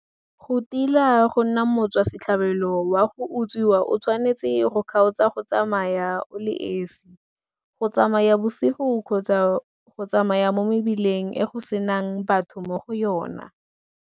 Go tila go nna motswa setlhabelo wa go utswiwa o tshwanetse go kgaotsa go tsamaya o le esi, go tsamaya bosigo kgotsa go tsamaya mo mebileng e go senang batho mo go yona.